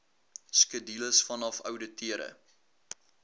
skedules vanaf ouditeure